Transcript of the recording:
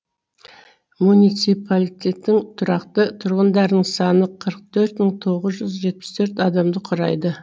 муниципалитеттің тұрақты тұрғындарының саны қырық төрт мың тоғыз жүз жетпіс төрт адамды құрайды